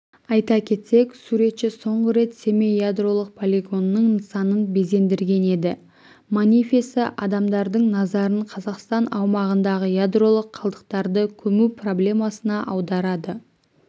айта кетсек суретші соңғы рет семей ядролық полигонының нысанын безендірген еді манифесі адамдардың назарын қазақстан аумағындағы ядролық қалдықтарды көму проблемасына аударады